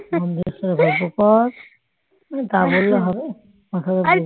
খালি গল্প কর তা বললে হবে